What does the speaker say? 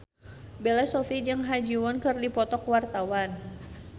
Bella Shofie jeung Ha Ji Won keur dipoto ku wartawan